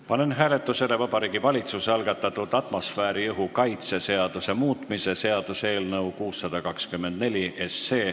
Panen hääletusele Vabariigi Valitsuse algatatud atmosfääriõhu kaitse seaduse muutmise seaduse eelnõu 624.